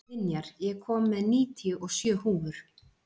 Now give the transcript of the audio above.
Vinjar, ég kom með níutíu og sjö húfur!